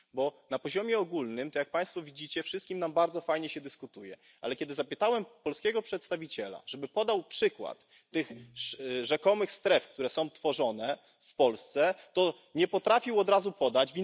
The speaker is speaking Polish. Bo na poziomie ogólnym to, jak Państwo widzicie, wszystkim nam bardzo fajnie się dyskutuje, ale kiedy poprosiłem polskiego przedstawiciela, żeby podał przykład tych rzekomych stref, które są tworzone w Polsce, to nie potrafił od razu podać.